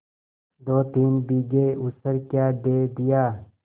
दोतीन बीघे ऊसर क्या दे दिया